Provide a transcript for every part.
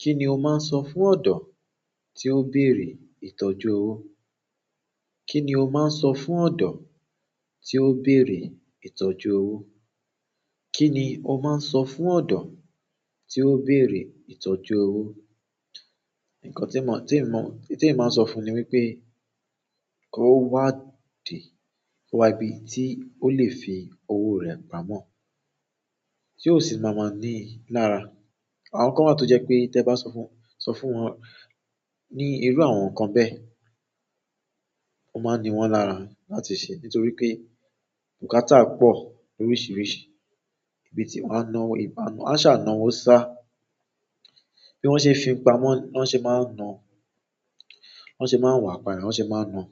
Kí ni o máa ń sọ fún ọ̀dọ́ tí ó béèrè ìtọ́jú owó? Kí ni o máa ń sọ fún ọ̀dọ́ tí ó béèrè ìtọ́jú owó? Kí ni o máa ń sọ fún ọ̀dọ́ tí ó béèrè ìtọ́jú owó? Ǹkan tí emi màá n sọ fún ni wípé kó wá di, kó wá ibi tí ó lè fi owó rẹ̀ pamọ́, tí ó sì máa máa ní i lára. Àwọn kan wáa tó jẹ́ pé tẹ bá sọ fún, sọ fún wọn ní irú àwọn nǹkan bẹ́ẹ̀, ọ́ máa n ní wọ́n lára láti ṣe, nítorí pé bùkátà pọ̀ loríṣiríṣi ibi tí wọ́n á ná owó, ìbá ń ná, won a ṣà ná owó sá. Bí wọ́n ṣe fi pamọ́, wọ́n se máa ń ná, wọ́n sì máa ń wà pà yen, wọ́n se máa ń ná.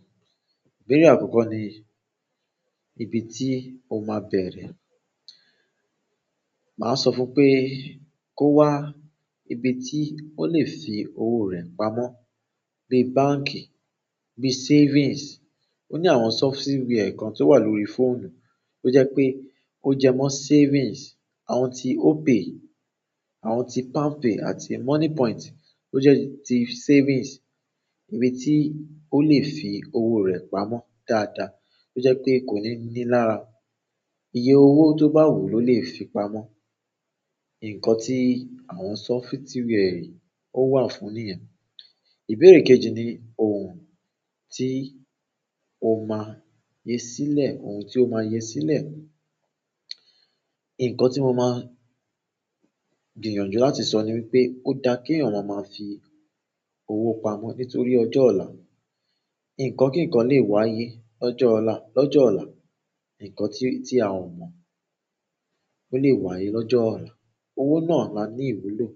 Ìbéèrè àkọ́kọ́ ni ibi tí o máa bẹ̀rẹ̀. Màá sọ fún pé kó wá ibi tí ó lè fi owó rẹ̀ pamọ́, bí i báǹkì, bí i savings. Ó ní àwọn softiwie kan tó wà lórí fóònù tó jẹ́ pé ó jẹmọ́ savings, àwọn ti Opay, àwọn ti PalmPay àti MoneyPoint tó jẹ́ ti savings. Ibi tí ó lè fi owó rẹ̀ pamọ́ dáadáa tó jẹ́ pé kò ní ní i lára. Iye owó tó bá wù ló lè fi pamọ́. Ǹkan tí àwọn sọfitiwiẹ yì ó wà fún níyẹn. Ìbéèrè kejì ni ohun tí o máa fí sílẹ̀, ohun tí o máa yo sílẹ̀. Ǹkan tí mo máa gbìyànjú láti sọ ni wípé ó dá kí eeya ma máa fi owó pamọ́ nítorí ọjọ́ ọ̀la. Ǹkan kíǹkan lè wáyé lọ́jọ́ ọ̀la, lọ́jọ́ ọ̀la. Nkan ti a o mo, o le wáyé lọ́jọ́ ola. Owó náà ma ní ìwúlò.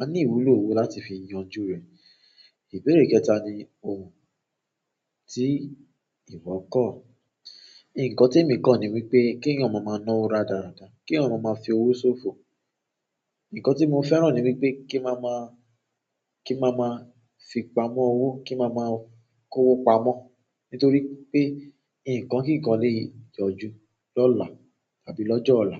A ní ìwúlò owó láti fi yanjú rẹ̀. Ìbéèrè kẹta ni ohun tí ìwọ kọ̀. Ǹkan tí èmi kọ̀ ni wípé kí eeyan máa ma ná owó rádaráda, kí eeyan ma máa fi owó ṣòfò. Ǹkan tí mo fẹ́ràn ni wípé kí ma máa fi pamọ́ owó, kí máa máa kó owó pamọ́, nítorí pé ǹkan kíǹkan lè yọjú lọ́la tàbí lọ́jọ́ ọ̀la.